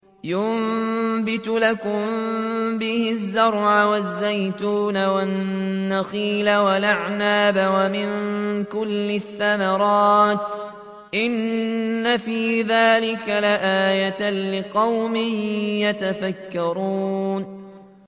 يُنبِتُ لَكُم بِهِ الزَّرْعَ وَالزَّيْتُونَ وَالنَّخِيلَ وَالْأَعْنَابَ وَمِن كُلِّ الثَّمَرَاتِ ۗ إِنَّ فِي ذَٰلِكَ لَآيَةً لِّقَوْمٍ يَتَفَكَّرُونَ